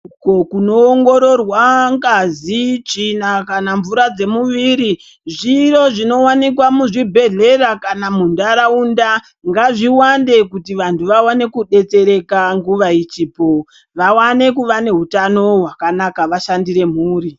Uko kuno ongororwa ngazi tsvina kana mvura dze mumwiri zviro zvino wanikwa mu zvibhedhlera kana mu ndaraunda ngazvi wande kuti vantu vawane ku detsereka nguva ichipo vawane kuva ne hutano hwakanaka vashandire mhuri.